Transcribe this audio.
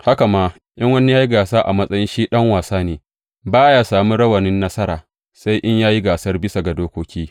Haka ma, in wani ya yi gasa a matsayi shi ɗan wasa ne, ba ya sami rawanin nasara, sai in ya yi gasar bisa ga dokoki.